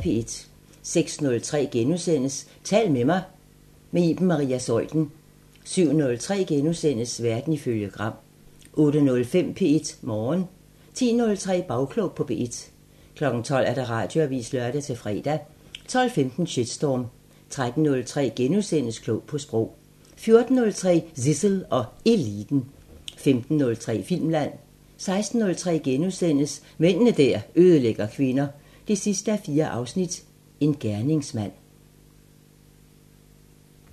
06:03: Tal til mig – med Iben Maria Zeuthen * 07:03: Verden ifølge Gram * 08:05: P1 Morgen 10:03: Bagklog på P1 12:00: Radioavisen (lør-fre) 12:15: Shitstorm 13:03: Klog på Sprog * 14:03: Zissel og Eliten 15:03: Filmland 16:03: Mænd der ødelægger kvinder 4:4 – Jagten på en gerningsmand *